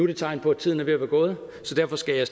der tegn på at tiden er ved at være gået så derfor skal jeg